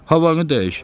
Havanı dəyiş.